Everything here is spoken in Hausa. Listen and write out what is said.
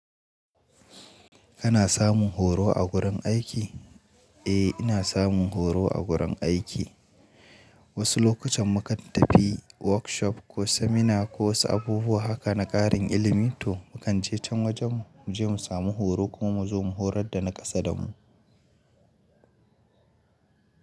Kana samun horo a gurin aiki? Eh, ina samun horo a gurin aiki. Wasu lokutan mu kan tafi workshop ko seminar ko wasu abubuwa haka na ƙarin ilimi. To mu kan je can wajen mu je mu samu horo kuma mu zo mu horar da na ƙasa da mu.